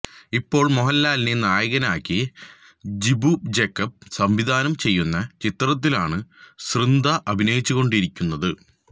ഇപ്പോള് മോഹന്ലാലിനെ നായകനാക്കി ജിബു ജേക്കബ് സംവിധാനം ചെയ്യുന്ന ചിത്രത്തിലാണ് സൃന്ദ അഭിനയിച്ചുകൊണ്ടിരിയ്ക്കുന്നത്